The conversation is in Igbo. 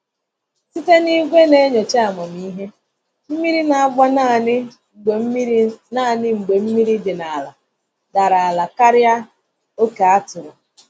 Site na igwe na-enyocha amamihe, mmiri na-agba naanị mgbe mmiri naanị mgbe mmiri dị n’ala dara ala karịa oke a tụrụ.